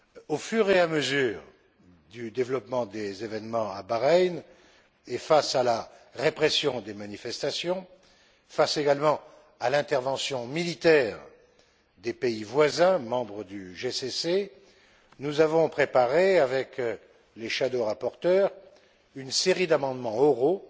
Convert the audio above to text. Au fur et à mesure du développement des événements à Bahreïn et face à la répression des manifestations, face également à l'intervention militaire des pays voisins, membres du CCG, nous avons préparé, avec les shadows rapporteurs, une série d'amendements oraux